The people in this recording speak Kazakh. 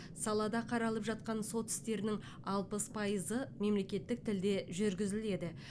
салада қаралып жатқан сот істерінің алпыс пайызы мемлекеттік тілде жүргізіледі